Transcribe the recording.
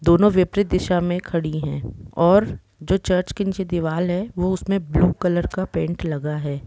दोनो विपरीत दिशा मे खड़ी है और जो चर्च के नीचे दीवाल है वो उसने ब्लू कॉलर पेंट का लगा है।